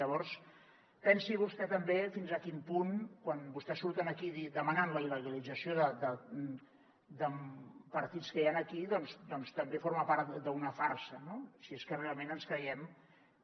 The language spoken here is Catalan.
llavors pensi vostè també fins a quin punt quan vostès surten aquí demanant la il·legalització de partits que hi han aquí doncs també forma part d’una farsa no si és que realment ens creiem que